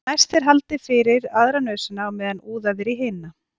Næst er haldið fyrir aðra nösina á meðan úðað er í hina.